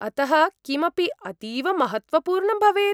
अतः किमपि अतीव महत्त्वपूर्णं भवेत्?